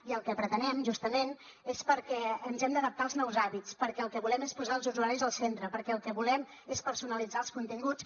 i el que pretenem justament és perquè ens hem d’adaptar als nous hàbits perquè el que volem és posar els usuaris al centre perquè el que volem és personalitzar els continguts